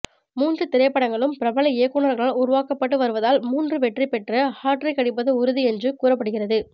மூன்று திரைப்படங்களும் பிரபல இயக்குனர்களால் உருவாக்கப்பட்டு வருவதால் மூன்று வெற்றி பெற்று ஹாட்ரிக் அடிப்பது உறுதி என்று கூறப்படுகிறது